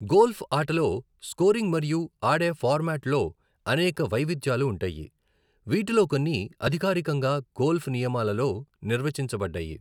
Golf ఆటలో scoring మరియు ఆడే ఫార్మాట్ లో అనేక వైవిధ్యాలు ఉంటాయి, వీటిలో కొన్ని అధికారికంగా గోల్ఫ్ నియమాలలో నిర్వచించబడ్డాయి.